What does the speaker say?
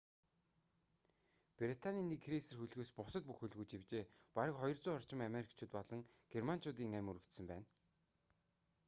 британийн нэг крейсер хөлгөөс бусад бүх хөлгүүд живжээ бараг 200 орчим америкчууд болон германчуудын амь үрэгдсэн байна